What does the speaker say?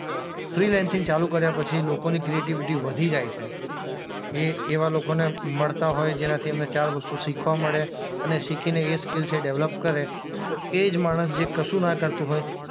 Freelancing ચાલુ કર્યા પછી લોકોની ક્રિએટિવિટી વધી જાય છે. એ એવા લોકોને મળતા હોય જેનાથી એમને ચાર વસ્તુ શીખવા મળે અને શીખીને એ સ્કીલસ એ ડેવલપ કરે તો એ જ માણસ જે કશું ના કરતું હોય